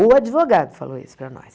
O advogado falou isso para nós.